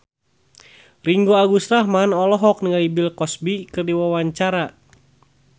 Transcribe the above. Ringgo Agus Rahman olohok ningali Bill Cosby keur diwawancara